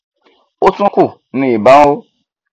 ó tún kù ni ìbọn nró